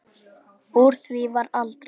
Úr því varð aldrei.